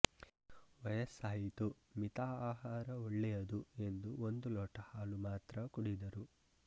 ವಯಸ್ಸಾಯಿತು ಮಿತ ಆಹಾರ ಒಳ್ಳೆಯದುಎಂದು ಒಂದು ಲೋಟ ಹಾಲು ಮಾತ್ರ ಕುಡಿದರು